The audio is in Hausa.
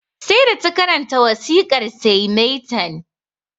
Sai da ta karanta wasikar sai maitan